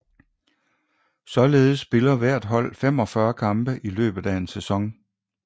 Således spiller hvert hold 45 kampe i løbet af en sæson